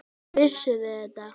Vissuð þið það?